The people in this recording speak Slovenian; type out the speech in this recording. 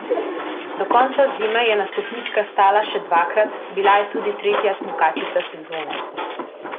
Do konca zime je na stopničkah stala še dvakrat, bila je tudi tretja smukačica sezone.